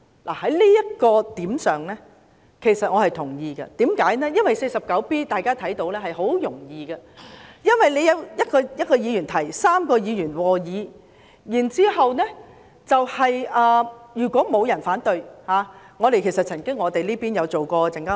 對於這一點我是同意的，因為要根據《議事規則》第 49B 條動議議案很易辦到，只需由1名議員提出、3名議員和議，如果沒有議員反對，便可通過。